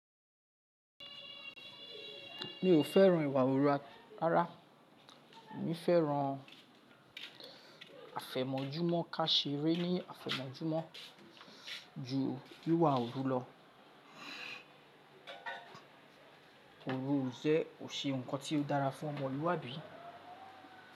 Mi ò fẹ́ràn ìwà òru rárá. Mi fẹ́ràn àfẹ̀mọ́júmọ́ ká ṣe re ní àfẹ̀mọ́júmọ́ ju wíwà òru lọ. Òru ọ̀sẹ̀ ò ṣe nnkan tí ó dára fún ọmọlúwàbí.